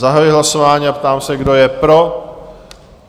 Zahajuji hlasování a ptám se, kdo je pro?